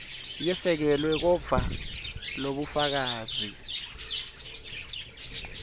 yesekelwe kodvwa lobufakazi